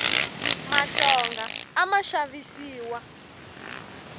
mahlonga a ma xavisiwa